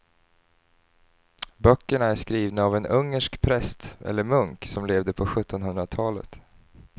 Böckerna är skrivna av en ungersk präst eller munk som levde på sjuttonhundratalet.